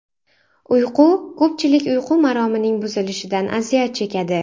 Uyqu Ko‘pchilik uyqu maromining buzilishidan aziyat chekadi.